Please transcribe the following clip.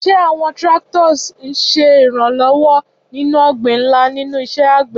Ṣé àwọn tractors ń ṣe ìrànlọ́wọ́ nínú ọgbìn ńlá nínú iṣẹ́ àgbẹ̀?